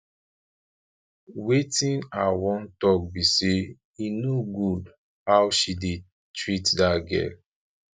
wetin i wan talk be say e no good how she dey treat that girl